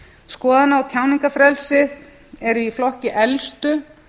skoðana og tjáningarfrelsið eru í flokki elstu